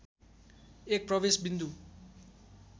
एक प्रवेश बिन्दु